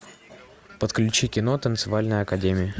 подключи кино танцевальная академия